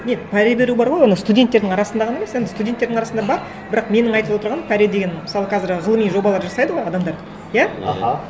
нет пара беру бар ғой оны студенттердің арасында ғана емес енді студенттердің арасында бар бірақ менің айтып отырғаным пара деген мысалы қазір ғылыми жобалар жасайды ғой адамдар иә аха